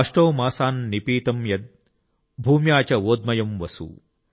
అష్టౌ మాసాన్ నిపీతం యద్ భూమ్యా చ ఓద్మయం వసు|